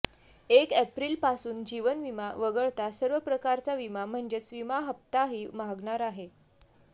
एक एप्रिलपासून जीवनविमा वगळता सर्व प्रकारचा विमा म्हणजेच विमा हप्ताही महागणार आहे